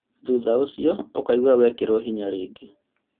Thutha ũcio ukaigwa wekĩrwo hinya rĩngĩ